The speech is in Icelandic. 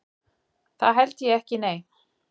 Það held ég ekki nei.